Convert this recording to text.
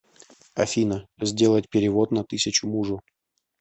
афина сделать перевод на тысячу мужу